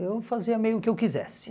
Eu fazia meio o que eu quisesse.